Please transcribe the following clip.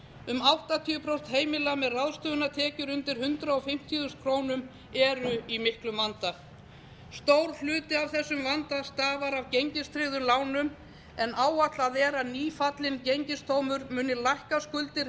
um áttatíu prósent heimila með ráðstöfunartekjur undir hundrað fimmtíu þúsund krónur eru í miklum vanda stór hluti af þessum vanda stafar af gengistryggðum lánum en áætlað er að nýfallinn gengisdómur muni lækka skuldir